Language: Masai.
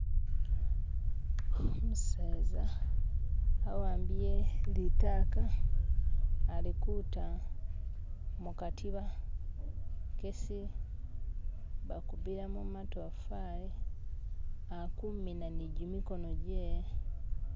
Omuseza awambiye litaka alikuta mukatiba kesi bakubilamo matofali akumina nijimikono jehe.